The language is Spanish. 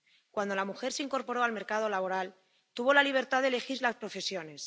Cuando la mujer se incorporó al mercado laboral, tuvo la libertad de elegir las profesiones.